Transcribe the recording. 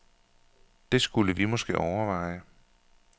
Det skulle vi måske overveje.